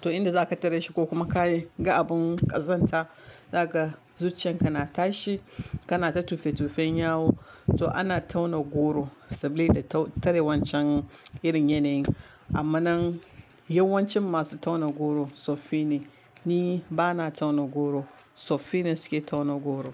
To inda za ka tare shi, ko kuma ka yi ga abun ƙazanta, za kaga zuciyanka na tashi. Kana ta tofe-tofen yawu. To ana tauna goro sabili da tare wancan irin yanayin. Amma nan yawancin masu tauna goro tsoffi ne. Ni ba na tauna goro, tsoffi ne suke tauna goro.